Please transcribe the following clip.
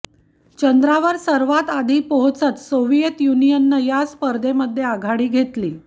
चंद्रावर सर्वांत आधी पोहोचत सोव्हिएत युनियननं या स्पर्धेमध्ये आघाडी घेतली